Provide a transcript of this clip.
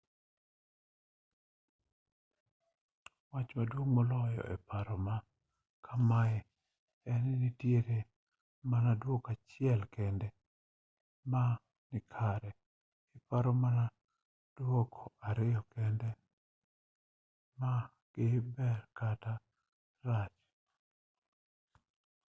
wach maduong moloyo e paro ma kamae en ni nitiere mana duoko achiel kende ma nikare iparo mana duoko ariyo kende ma gin ber kata rach